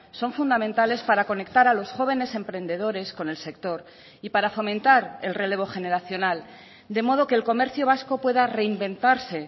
son fundamentales para conectar a los jóvenes emprendedores con el sector y para fomentar el relevo generacional de modo que el comercio vasco pueda reinventarse